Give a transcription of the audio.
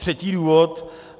Třetí důvod.